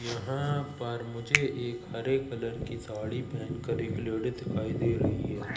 यहां पर मुझे एक हरे कलर की साड़ी पहन कर एक लेडी दिखाई दे रही है।